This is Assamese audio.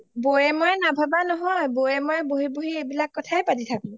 বৌয়ে মইয়ে নাভাবা নহৈ বৌয়ে মইয়ে বহি বহি এইবিলাক কথা কে পাতি থাকো